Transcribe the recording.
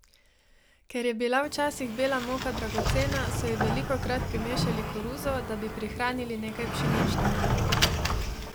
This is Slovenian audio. Ker je bila včasih bela moka dragocena, so ji velikokrat primešali koruzo, da bi prihranili nekaj pšenične.